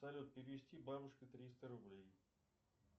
салют перевести бабушке триста рублей